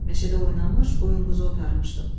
Meşədə oynamış, qoyun-quzu otarmışdım.